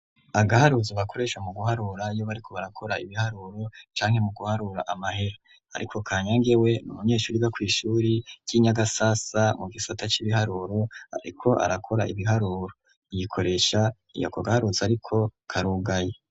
Agaharuzo bakoresha mu guharura iyo bariko barakora ibiharuro canke mu guharura amahera, ariko kanyage we n'umunyeshuri yiga kw'ishure ry'i nyagasasa mu gisata c'ibiharuro ariko arakora ibiharuro yikoresha ako gaharuzo ariko karugaye.